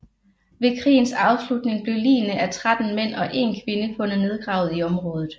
Ved krigens afslutning blev ligene af 13 mænd og 1 kvinde fundet nedgravet i området